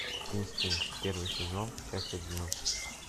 инстинкт первый сезон часть одиннадцать